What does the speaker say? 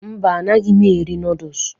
Mba, anaghị eri nọọdụs.